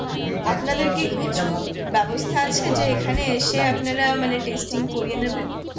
করিয়ে নেবেন